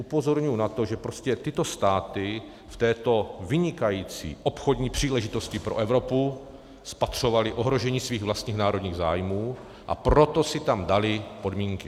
Upozorňuji na to, že prostě tyto státy v této vynikající obchodní příležitosti pro Evropu spatřovaly ohrožení svých vlastních národních zájmů, a proto si tam daly podmínky.